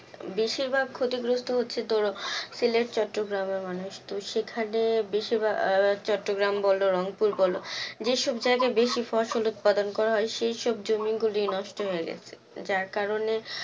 বেশিরভাগ ক্ষতিগ্রস্ত হচ্ছে ধরো সিলেট চট্টগ্রামের মানুষ, সেখানে বেশিভাগ আহ চট্টগ্রাম বল রংপুর বল যেসব জায়গায় বেশি ফসল উৎপাদন করা হয় সেই সব জমিগুলি নষ্ট হয়ে গেছে, যার কারণে